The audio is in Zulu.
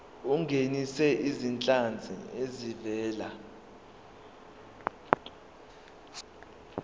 ungenise izinhlanzi ezivela